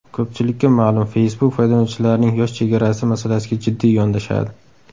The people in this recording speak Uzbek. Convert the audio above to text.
Ko‘pchilikka ma’lum, Facebook foydalanuvchilarning yosh chegarasi masalasiga jiddiy yondashadi.